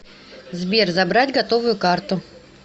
сбер забрать готовую карту